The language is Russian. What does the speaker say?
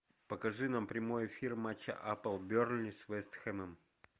покажи нам прямой эфир матча апл бернли с вест хэмом